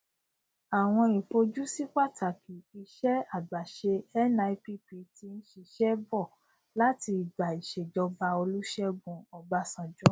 awọn ifojusi pataki iṣẹ àgbàṣe nipp ti ń ṣiṣẹ bọ láti ìgbà ìṣèjọba olusegun obasanjo